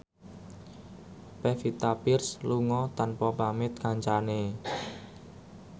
Pevita Pearce lunga tanpa pamit kancane